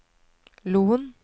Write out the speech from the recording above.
Loen